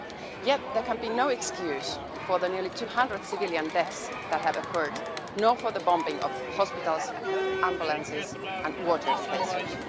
Yet there can be no excuse for the nearly 200 civilian deaths that have occurred, nor for the bombing of hospitals, ambulances and water stations.